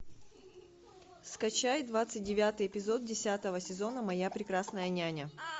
скачай двадцать девятый эпизод десятого сезона моя прекрасная няня